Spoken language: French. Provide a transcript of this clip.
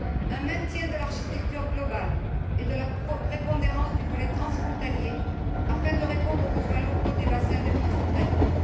Un maintien de l'architecture globale et de la prépondérance du volet transfrontalier afin de répondre aux besoins locaux des bassins de vie frontaliers.